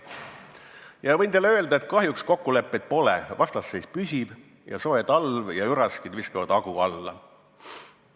Ja võin teile öelda, et kahjuks kokkuleppeid pole, vastasseis püsib ja soe talv ja üraskid viskavad hagu alla.